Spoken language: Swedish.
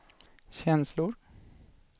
känslor